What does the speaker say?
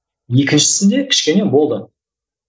екіншісінде кішкене болды